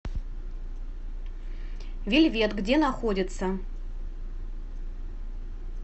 вельвет где находится